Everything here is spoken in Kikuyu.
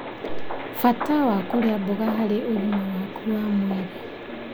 Bata wa kũrĩa mboga harĩ ũgima waku wa mwĩrĩ